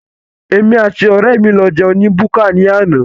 Èmi àti ọrẹ mí lọ jẹun ní búkà ní àna